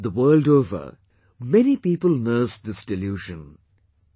The world over, many people nursed this delusion...